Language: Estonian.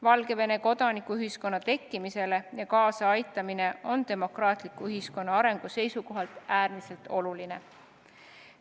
Valgevene kodanikuühiskonna tekkimisele kaasaaitamine on demokraatliku ühiskonna arengu seisukohalt äärmiselt oluline.